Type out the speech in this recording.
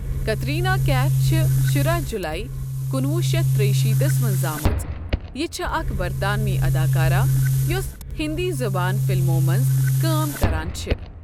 کترینہ کیف چھےٚ شُراہ جولایی کُنہٕ وُہ شتھ تریِہ شیٖتس منٛز زامٕژ، یہِ چھےٚ اکھ برطانوی اداکارہ یۄس ہِنٛدی زبان فلمَو منٛز کٲم کران چھِ۔